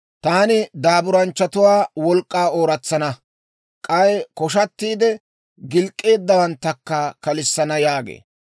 Taani daaburanchchatuwaa wolk'k'aa ooratsana; k'ay koshatiide gilk'k'eeddawanttakka kalissana» yaagee.